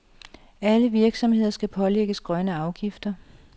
Alle virksomheder skal pålægges grønne afgifter.